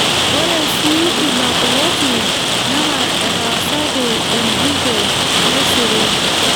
Ore sii ina ploti naa etaasaki enjurro nesiri.